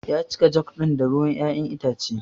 Ya cika jug ɗin da ruwan ƴaƴan itace.